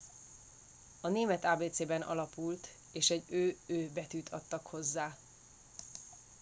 a német ábécén alapult és egy õ/õ” betűt adtak hozzá